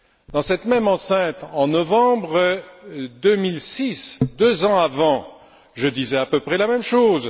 Dans ce même hémicycle, en novembre 2006, deux ans avant, je disais à peu près la même chose.